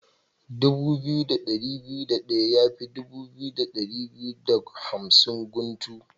Dubu biyu da ɗari biyu da ɗaya yafi dubu biyu da ɗari biyu da hamsin guntu.